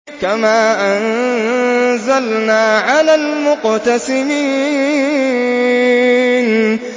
كَمَا أَنزَلْنَا عَلَى الْمُقْتَسِمِينَ